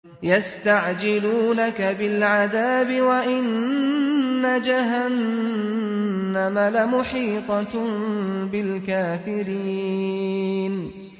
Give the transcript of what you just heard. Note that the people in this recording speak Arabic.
يَسْتَعْجِلُونَكَ بِالْعَذَابِ وَإِنَّ جَهَنَّمَ لَمُحِيطَةٌ بِالْكَافِرِينَ